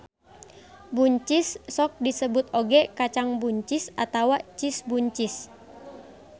Buncis sok disebut oge kacang buncis atawa cis buncis